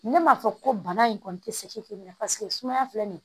Ne m'a fɔ ko bana in kɔni tɛ sumaya filɛ nin ye